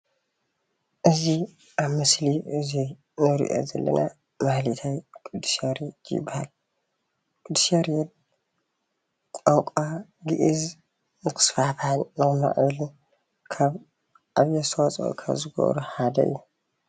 እዚ ኣብ ምስሊ እዚ እንሪኦ ዘለና ማህሌታይ ቅዱስ ያሬድ ይበሃል። ቅዲስ ያሬድ ቋንቋ ግእዝ ንክስፋሕፋሕን ክምዕብልን ካብ ዓብዩ ኣስተዋፅኦ ኻብ ዝገበሩ ሓደ እዩ።